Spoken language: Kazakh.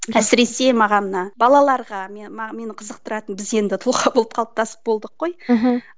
әсіресе маған мына балаларға мені мені қызықтыратын біз енді тұлға болып қалыптасып болдық қой мхм